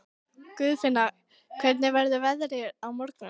Guðfinna, hvernig verður veðrið á morgun?